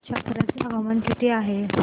छप्रा चे हवामान कसे आहे